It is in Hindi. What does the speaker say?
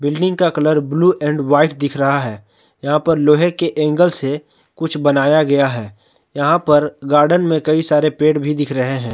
बिल्डिंग का कलर ब्लू एंड व्हाइट दिख रहा है यहां पर लोहे के एंगल से कुछ बनाया गया है यहां पर गार्डन में कई सारे पेड़ भी दिख रहे हैं।